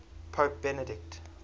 pope benedict